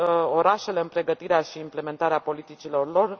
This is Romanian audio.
orașele în pregătirea și implementarea politicilor lor.